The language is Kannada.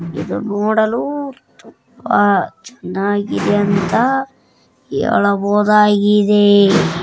ಇದು ನೋಡಲು ತುಂಬಾ ಚೆನ್ನಾಗಿದೆ ಅಂತ ಹೇಳಬಹುದಾಗಿದೆ